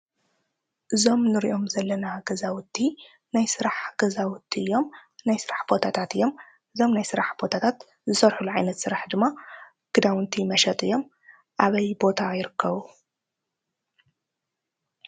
እዞም እንሪኦም ዘለና ገዛውቲ ናይ ስራሕ ገዛውቲ እዮም። ናይ ስራሕ ቦታታት እዮም። እዞም ናይ ስራሕ ቦታታት ዝሰርሕሉ ዓይነት ስራሕ ድማ ክዳውንቲ መሸጢ እዮም። ኣበይ ቦታ ይርከቡ?